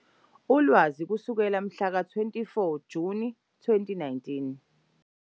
Ulwazi kusukela kumhla ka-24 Juni 2019.